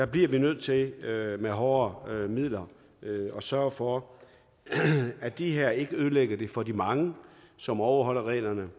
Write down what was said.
bliver vi nødt til med hårdere midler at sørge for at de her ikke ødelægger det for de mange som overholder reglerne